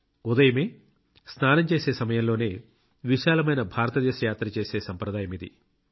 ఉదయమే స్నానం చేసే సమయంలోనే విశాలమైన భారతదేశ యాత్ర చేసే సంప్రదాయమిది